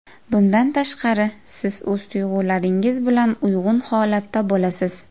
Bundan tashqari, siz o‘z tuyg‘ularingiz bilan uyg‘un holatda bo‘lasiz.